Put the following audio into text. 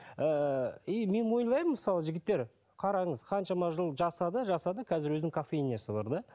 ііі и мен ойлаймын мысалы жігіттер қараңыз қаншама жыл жасады жасады қазір өзінің кофейнясы бар да